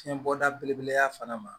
Fiɲɛbɔda belebele fana ma